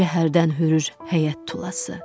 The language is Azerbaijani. Gecə hərdən hürür həyət tulası.